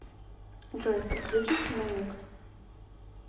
джой подключи киномикс